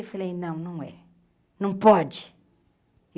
Eu falei, não, não é. Não pode.